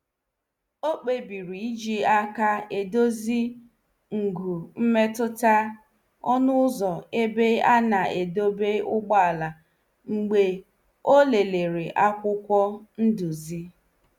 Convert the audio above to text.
Ọ kpebiri iji aka edozi ngwu mmetụta ọnu ụzọ ebe ana- edebe ụgbọala mgbe ọ lelere akwụkwọ nduzi.